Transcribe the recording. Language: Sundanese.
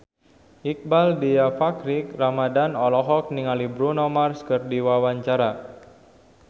Iqbaal Dhiafakhri Ramadhan olohok ningali Bruno Mars keur diwawancara